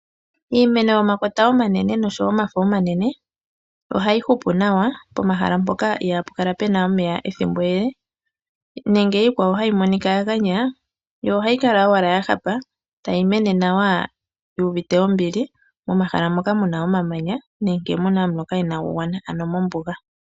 Iimeno yomakota omanene noshowo omafo omanene, ohayi hupu nawa pomathimbo ngoka ihaapu kala puna omeya ethimbo ele, nenge iikwawo tayi monika ya ganya, yo ohayi kala owala ya hapa, tayi mene nawa yuuvite ombili, momahala moka muna omamanya nenge muna omuloka inaagu gwana, ano mombuga.